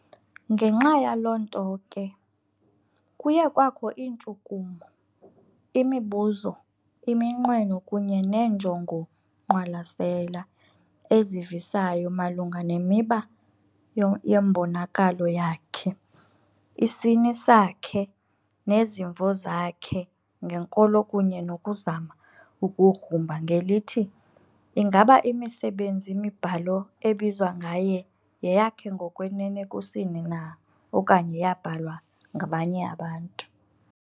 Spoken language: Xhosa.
ngexa yaloonto ke, kuye kwakho iintshukumo, imibuzo, iminqweno kunye neenjongo-ngqwalasela ezivisayo malunga nemiba yembonakalo yakhe, isini sakhe, nezimvo zakhe ngenkolo kunye nokuzama ukugrumba ngelithi ingaba imisebenzi-mibhalo ebizwa ngaye yeyakhe ngokwenene kusini na okanye yaabhalwa ngabanye abantu.